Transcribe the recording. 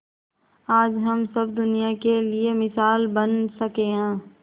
आज हम सब दुनिया के लिए मिसाल बन सके है